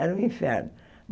Era um inferno.